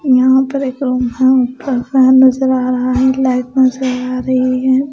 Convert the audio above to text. यहाँ पे रक रूम है ऊपर फैन नज़र आ रहा है लाइट नज़र आ रही है।